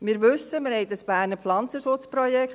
Wir wissen: Wir haben dieses BPP.